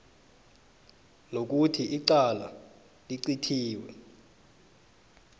nokuthi icala licithiwe